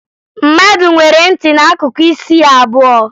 Mmadụ nwere ntị n'akụkụ isi ya abụọ